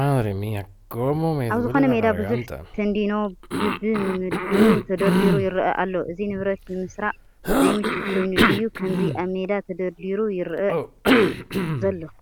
ኣብ ዝኾነ ሜዳ ብዙሕ ተንዲኖ በብምድቡ ተደርዲሩ ይርአ ኣሎ፡፡ እዚ ንብረት ንምስራቕ ዘይምቹ ኮይኑ ድዩ ከምዚ ኣብ ሜዳ ተደርዲሩ ይርአ ዘሎ?